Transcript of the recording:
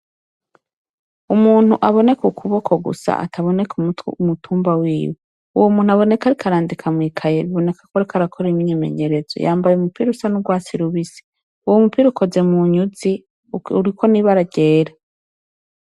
Umuntu aboneka ukuboko gusa ataboneka umutumba wiwe uwo muntu aba ariko arandika mwikaye biboneka ko ariko arandika akora imyimenyerezo yambaye umupira usa n’urwatsi rubisi uwo mupira ukoze munyuzi uriko n’ibara ryera.